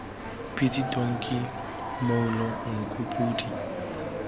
pitsi tonki mmoulo nku podi